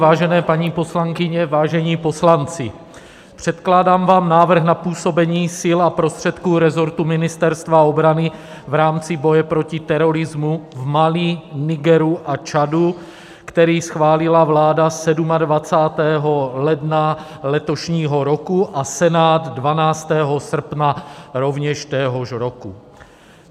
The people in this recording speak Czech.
Vážené paní poslankyně, vážení poslanci, předkládám vám návrh na působení sil a prostředků rezortu Ministerstva obrany v rámci boje proti terorismu v Mali, Nigeru a Čadu, který schválila vláda 27. ledna letošního roku a Senát 12. srpna rovněž téhož roku.